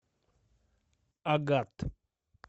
агат